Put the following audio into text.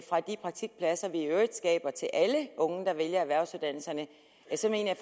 fra de praktikpladser vi i øvrigt skaber til alle unge der vælger erhvervsuddannelserne så mener